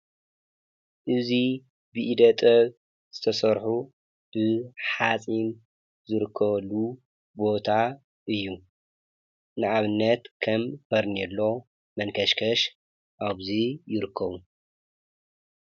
እዙይ ብኢደጠብ ዝተሠርሑ ብሓጺም ዝርከሉ ቦታ እዩ ንኣብነት ከም በርኔሎ መንከሽከሽ ኣብዙይ ይርክዉ።